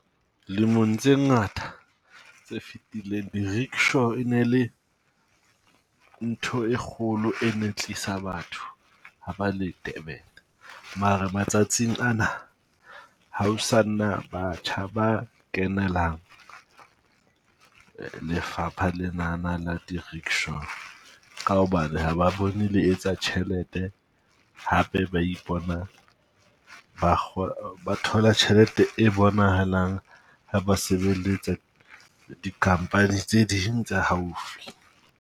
Lemong tse ngata tse fetileng di rickshaw e ne le ntho e kgolo e ne tlisa batho haba le Durban. Mara matsatsing ana ha o sa na batjha ba kenelang lefapha le nana la di rickshaw. Ka hobane ha ba bone le etsa tjhelete hape, ba ipona ba ba thola tjhelete e bonahalang ha ba sebeletsa di company tse ding tsa haufi.